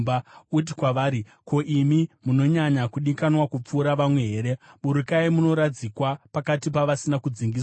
Uti kwavari, ‘Ko, imi munonyanya kudikanwa kupfuura vamwe here? Burukai munoradzikwa pakati pavasina kudzingiswa.’